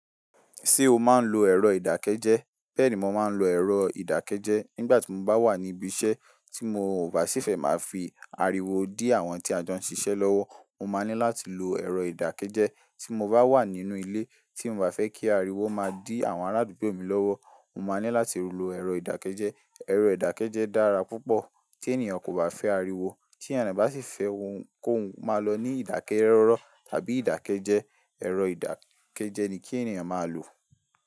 Ṣé o máa ń lo ẹ̀rọ ìdákẹ́jẹ́? Bẹ́ẹ̀ ni mo máa ń lo ẹ̀rọ ìdákẹ́jẹ́. Nígbà tí mo bá wà ní ibi iṣẹ́ tí mo ò bá ṣì fẹ́ máa fi ariwo dí àwọn tí a jọ ń ṣiṣẹ́ lọ́wọ́, mo máa ní láti lo ẹ̀rọ ìdákẹ́jẹ́. Tí mo bá wà nínú ilé tí mo bá fẹ́ kí ariwo má dí àwọn ará àdúgbò mi lọ́wọ́, mo máa ní láti lo ẹ̀rọ ìdákẹ́jẹ́. Ẹ̀rọ ìdákẹ́jẹ́ dára púpọ̀ tí ènìyàn kò bá fẹ́ ariwo. Tí enìyan bá sì fẹ́ ounkoun kó máa lọ ní ìdákẹ́rọ́rọ́ tàbí ìdákẹ́jẹ́, ẹ̀rọ ìdákẹ́jẹ́ ni kí ènìyàn máa lò.